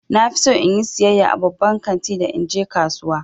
Na fi so in yi sayayya a babban kanti da in je kasuwa.